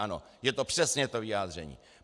Ano, je to přesně to vyjádření.